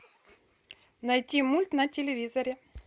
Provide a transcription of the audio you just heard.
найти мульт на телевизоре